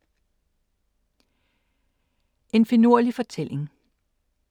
En finurlig fortælling